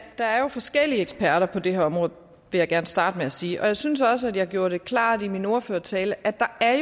der jo er forskellige eksperter på det her område det jeg gerne starte med at sige og jeg synes også at jeg gjorde det klart i min ordførertale at der er